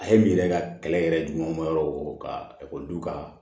A ye min yɛrɛ ka kɛlɛ yɛrɛ juma ma yɔrɔ o ka ekɔlidenw ka